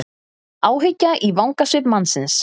Áhyggja í vangasvip mannsins.